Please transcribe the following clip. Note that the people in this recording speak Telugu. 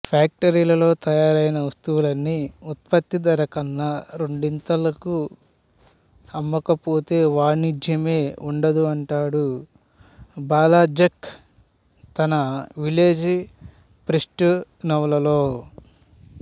ఫ్యాక్టరీలలో తయారైన వస్తువుల్ని ఉత్పత్తి ధరకన్నా రెండింతలకు అమ్మకపోతే వాణిజ్యమే ఉండదు అంటాడు బాల్జాక్ తన విలేజ్ ప్రీస్ట్ నవలలో